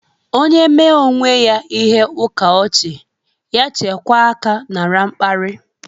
Onye mee onwe ya ihe ukaochi, ya chekwaa aka nara mkpari.